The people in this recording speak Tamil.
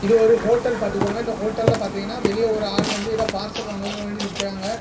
இது ஒரு ஹோட்டல் பார்த்துக்கோங்க இந்த ஹோட்டல்ல பாத்தீங்கனா வெளிய ஒரு ஆள் வந்து ஏதோ பார்சல் வாங்க வேண்டி நிக்றாங்க.